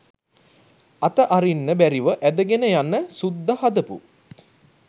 අත අරින්න බැරිව ඇදගෙන යන සුද්ද හදපු